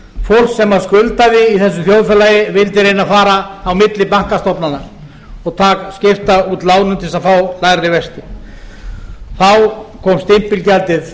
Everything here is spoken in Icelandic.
ljós þegar fólk sem skuldaði í þessu þjóðfélagi vildi reyna að fara á milli bankastofnana og skipta út lánum til þess að fá lægri vexti þá kom stimpilgjaldið